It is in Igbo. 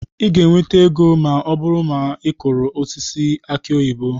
Ị ga-enweta ego ma ọ bụrụ na ị kụrụ osisi aki oyibo.